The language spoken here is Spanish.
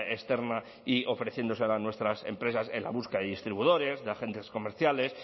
externa y ofreciéndosela a nuestras empresas en la búsqueda de distribuidores de agentes comerciales